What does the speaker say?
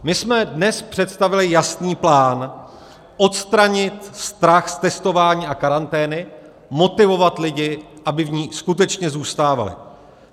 My jsme dnes představili jasný plán: odstranit strach z testování a karantény, motivovat lidi, aby v ní skutečně zůstávali.